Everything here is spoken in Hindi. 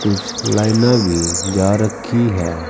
कुछ लाइना भी जा रखी है।